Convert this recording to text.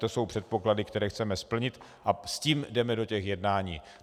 To jsou předpoklady, které chceme splnit, a s tím jdeme do těch jednání.